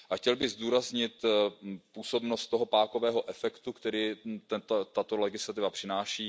Chtěl bych zdůraznit působnost toho pákového efektu, který tato legislativa přináší.